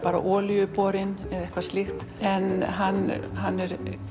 olíuborin eða eitthvað slíkt en hann hann er